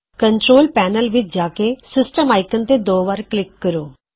control panel ਵਿਚ ਜਾਓ system icon ਤੇ ਦੋ ਵਾਰ ਕਲਿਕ ਕਰੋ